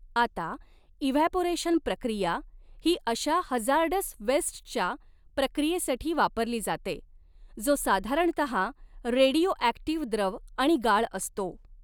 आता इव्हॅपोरेशन प्रक्रिया ही अशा हजार्डस वेस्ट च्या प्रक्रियेसाठी वापरली जाते जो साधारणतः रेडिओॲक्टीव्ह द्रव आणि गाळ असतो.